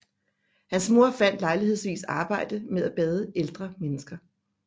Hans mor fandt lejlighedsvis arbejde med at bade ældre mennesker